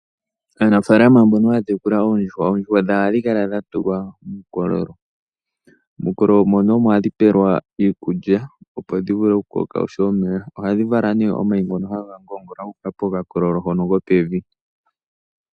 Aanafalama mbonobhaya tekula oondjuhwa, ohaya kala yedhi tula muukololo mono hadhi pelwa iikulya opo dhi vule oku koka oshowo omeya. Ohadhi vala omayi ngono haga ngongola guka pokakololo kopevi.